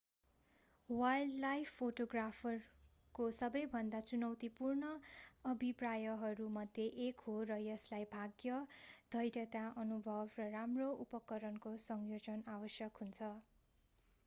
wildlife फोटोग्राफरको सबैभन्दा चुनौतीपूर्ण अभिप्रायहरू मध्ये एक हो र यसलाई भाग्य धैर्यता अनुभव र राम्रो उपकरणको संयोजन आवश्यक हुन्छ